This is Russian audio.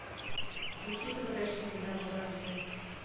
включи возвращение домой аш д